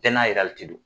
Bɛɛ n'a yɛrɛ de don